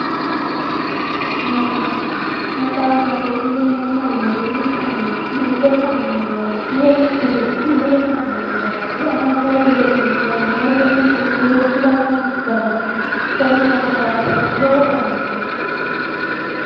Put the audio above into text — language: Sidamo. Maxaaffa. Maxaaffate yineemmo woyite mittu manchi ille fa'nanno garaati woyi mittu beetti ille fa'nanno garaati anabbawihu gedensaanni egennosi boowirsiranno garaati. Konnira maxaafu lowo horo aannonke.